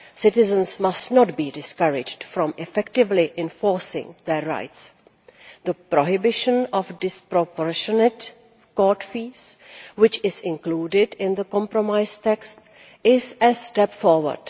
Citizens must not be discouraged from effectively enforcing their rights. The prohibition of disproportionate court fees, which is included in the compromise text, is a step forward.